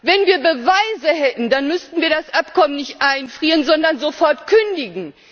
Wenn wir Beweise hätten, dann müssten wir das Abkommen nicht einfrieren, sondern sofort kündigen.